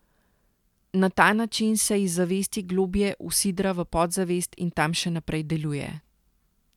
Na ta način se iz zavesti globlje usidra v podzavest in tam še naprej deluje.